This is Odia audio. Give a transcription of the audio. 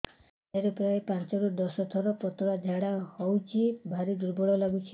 ଦିନରେ ପ୍ରାୟ ପାଞ୍ଚରୁ ଦଶ ଥର ପତଳା ଝାଡା ହଉଚି ଭାରି ଦୁର୍ବଳ ଲାଗୁଚି